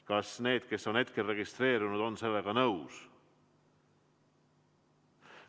Kas need, kes on hetkel registreerunud, on sellega nõus?